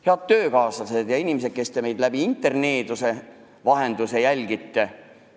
Head töökaaslased ja inimesed, kes te meid interneeduse vahendusel jälgite!